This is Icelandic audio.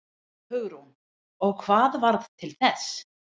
Hugrún: Og hvað varð til þess?